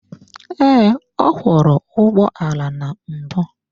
Ee, ọ kwọro ụgbọala na mbụ.